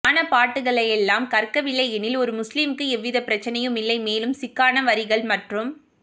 ஞானப்பாட்டுக்களையெல்லாம் கற்கவில்லையெனில் ஒரு முஸ்லிமுக்கு எவ்வித பிரச்சினையுமில்லை மேலும் சிக்கான வரிகள் மற்றும்